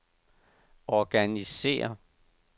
organisér